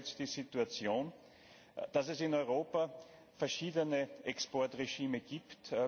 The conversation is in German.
Hier haben wir jetzt die Situation, dass es in Europa verschiedene Exportregime gibt.